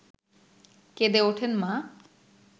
কেঁদে ওঠেন মা